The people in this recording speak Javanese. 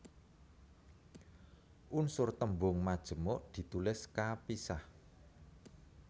Unsur tembung majemuk ditulis kapisah